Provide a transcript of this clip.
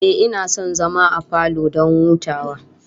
Ehh, ina son zama a falo don hutawa